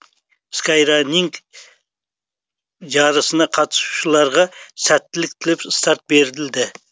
скайраннинг жарысына қатысушыларға сәттілік тілеп старт берілді